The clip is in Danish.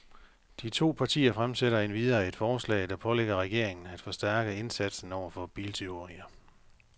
De to partier fremsætter endvidere et forslag, der pålægger regeringen af forstærke indsatsen over for biltyverier.